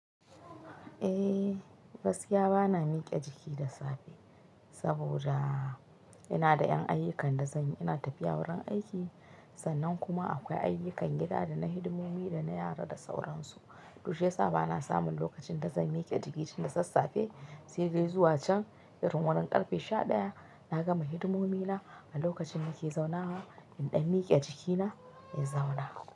Eh, gaskiya ba na miƙe jiki da safe saboda ina da ƴan ayyukan da zan yi. Ina tafiya wurin aiki sannan kuma akwai ayyukan gida da na hidimomi da na yara da sauransu. To shi yasa ba na samun lokacin da zan miƙe jiki tun da sassafe sai dai zuwa can, irin wurin ƙarfe sha ɗaya. Na gama hidimomi na a lokacin da nake zauna wa in ɗan miƙe jikina in zauna.